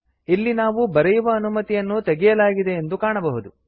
ಇಲ್ಲಿ ನಾವು ಬರೆಯುವ ಅನುಮತಿಯನ್ನು ತೆಗೆಯಲಾಗಿದೆ ಎಂದು ಕಾಣಬಹುದು